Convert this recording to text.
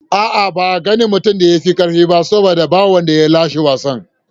A'a, ba a gane mutumin da ya fi karfi ba saboda babu wanda ya lashe wasan.